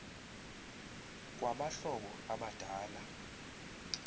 kwaba hlobo abadala